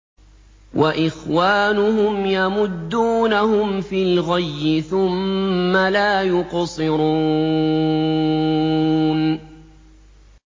وَإِخْوَانُهُمْ يَمُدُّونَهُمْ فِي الْغَيِّ ثُمَّ لَا يُقْصِرُونَ